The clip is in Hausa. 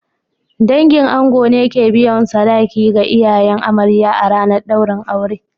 Dangin ango ne ke biyan sadaki ga iyayen amarya a ranar daurin aure